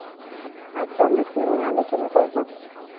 আজকে আমরা কি নিয়ে আলোচনা করব?